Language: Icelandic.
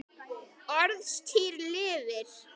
Orðstír lifir.